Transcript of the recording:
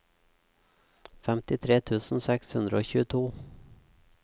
femtitre tusen seks hundre og tjueto